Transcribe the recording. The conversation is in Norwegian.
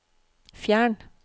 fjern